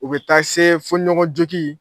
U bɛ taa se fo ɲɔgɔn jogi